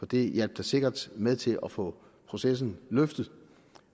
det hjalp da sikkert med til at få processen løftet